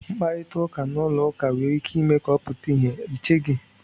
Mkparịta ụka n'ụlọ ụka nwere ike ime ka ọ pụta ìhè, ị cheghị?"